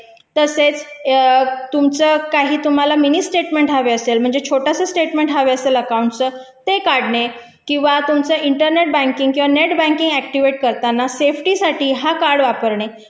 तसेच तुम्हाला काही मिनी स्टेटमेंट हवे असतील छोटासा स्टेटमेंट हवा असेल अकाउंट तर ते काढणे किंवा तुमचं इंटरनेट बँकिंग किंवा नेट बँकिंग ऍक्टिव्हेट करताना सेफ्टी साठी हा कार्ड वापरणे